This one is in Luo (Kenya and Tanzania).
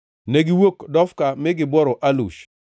Negiwuok Dofka mi gibworo Alush.